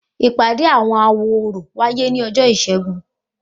Ìpàdé àwọn awo orò wáyé ni ọjọ ìsẹ́gun